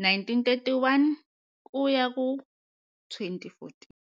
1931-2014.